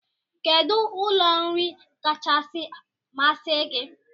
Kedụ ụlọ nri kachasị masị gi?